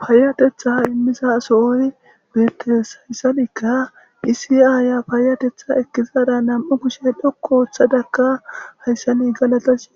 paayatetha immisa aso oyi weetes hayssanikka iisi aaya paayatetha ekkizada nam7u kushe dhokku oththadakka hayssani galatashi